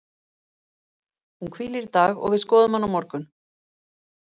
Hún hvílir í dag og við skoðum hana á morgun.